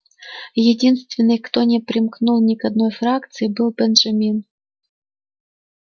единственный кто не примкнул ни к одной фракции был бенджамин